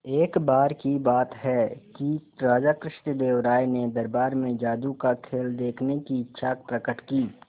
एक बार की बात है कि राजा कृष्णदेव राय ने दरबार में जादू का खेल देखने की इच्छा प्रकट की